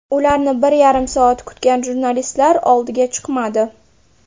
Ularni bir yarim soat kutgan jurnalistlar oldiga chiqmadi.